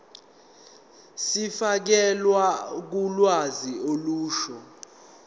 zokufakelwa kolwazi olusha